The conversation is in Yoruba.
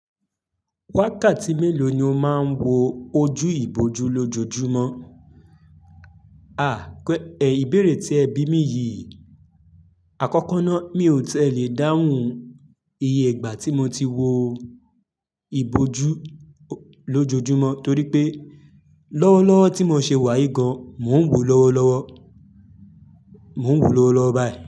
Wákàtí mélòó ni o máa ń wo ojú ìbòjú lójoojúmọ́? À, ìbéèrè tí ẹ bí mi yìí, àkọ́kọ́ ná mi ò tẹ́lẹ̀ dáhùn iye ìgbà tí mo ti wo ìbòjú lójoojúmọ́ torí pé lọ́wọ́lọ́wọ́ tí mo ṣe wà yìí gan, mò ń wò lọ́wọ́lọ́wọ́, mò ń wò lọ́wọ́lọ́wọ́ báyìí.